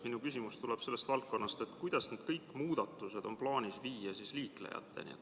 Minu küsimus tuleb selle kohta, kuidas kõik need muudatused on plaanis liiklejateni viia.